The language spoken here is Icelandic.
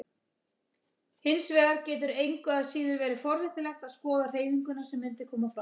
Hins vegar getur engu að síður verið forvitnilegt að skoða hreyfinguna sem mundi koma fram.